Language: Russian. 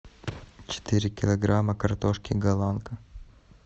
четыре килограмма картошки голландка